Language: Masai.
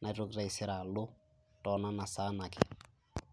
naitoki taisere alo too nona saan ake.